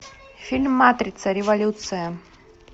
фильм матрица революция